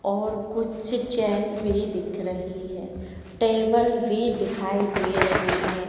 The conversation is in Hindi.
और कुछ चेयर भी दिख रही है टेबल भी दिखाई दे रही है।